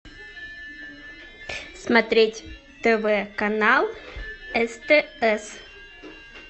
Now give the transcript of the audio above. смотреть тв канал стс